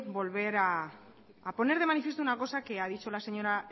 volver a poner de manifiesto una cosa que ha dicho la señora